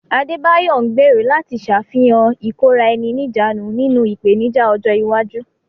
Adebayo ń gbèrò láti ṣàfihàn ìkóra-ẹni-níjàánu nínú ìpèníjà ọjọ́ iwájú.